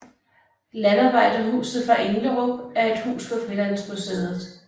Landarbejderhuset fra Englerup er et hus på Frilandsmuseet